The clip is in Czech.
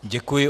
Děkuji.